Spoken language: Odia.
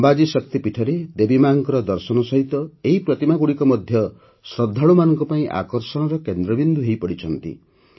ଅମ୍ବାଜୀ ଶକ୍ତିପୀଠରେ ଦେବୀମାଙ୍କର ଦର୍ଶନ ସହିତ ଏହି ପ୍ରତିମାଗୁଡ଼ିକ ମଧ୍ୟ ଶ୍ରଦ୍ଧାଳୁମାନଙ୍କ ପାଇଁ ଆକର୍ଷଣର କେନ୍ଦ୍ରବିନ୍ଦୁ ହୋଇପଡ଼ିଛନ୍ତି